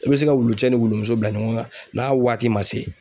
I bɛ se ka wulu cɛ ni wulu muso bila ɲɔgɔn kan n'a waati ma se